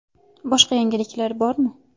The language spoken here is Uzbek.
Boshqa yangiliklar bormi?